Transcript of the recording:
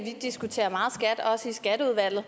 at vi diskuterer meget skat også i skatteudvalget